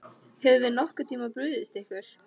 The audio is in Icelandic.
Höfum við nokkurn tímann brugðist ykkur?